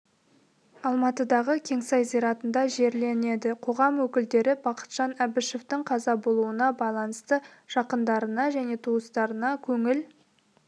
алматыдағы кеңсай зиратында жерленеді қоғам өкілдері бақытжан әбішевтің қаза болуына байланысты жақындарына және туыстарына көңіл